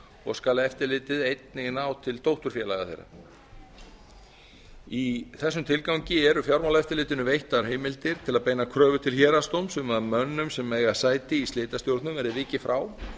og skal eftirlitið einnig ná til dótturfélaga þeirra í þessum tilgangi eru fjármálaeftirlitinu veittar heimildir til að beina kröfu til héraðsdóms um að mönnum sem eiga sæti í slitastjórnum verði vikið frá